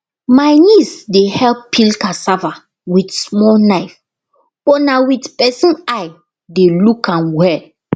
my niece dey help peel cassava with small knife but na with person eye dey look am well